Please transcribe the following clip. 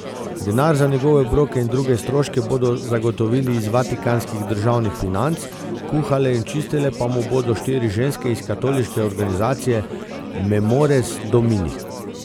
Denar za njegove obroke in druge stroške bodo zagotovili iz vatikanskih državnih financ, kuhale in čistile pa mu bodo štiri ženske iz katoliške organizacije Memores Domini.